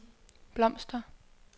blomster